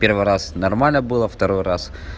первый раз нормально было второй раз